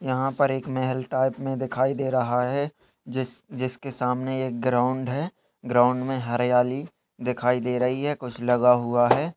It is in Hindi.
यहां पर एक महेल टाइप में दिखाई दे रहा है। जिस जिसके सामने एक ग्राउंड है। ग्राउंड में हरियाली दिखाई दे रही है कुछ लगा हुआ है।